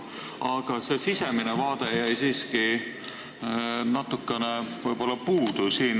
Aga seda sisemist vaadet jäi siin siiski natukene puudu.